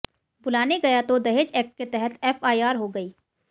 बुलाने गया तो दहेज एक्ट के तहत एफआईआर हो गई